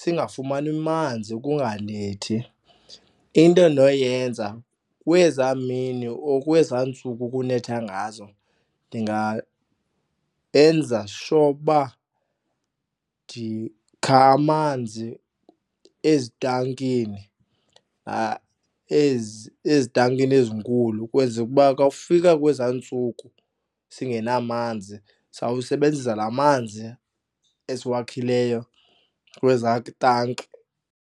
singafumani manzi kunganethi. Into endinoyenza kwezaa mini or kwezaa ntsuku kunetha ngazo enza sure uba ndikha amanzi ezitankini ezitankini ezinkulu kwenzele uba xa ufika kwezaa ntsuku singenamanzi, sawusebenzisa laa manzi esiwakhileyo kwezaa tanki.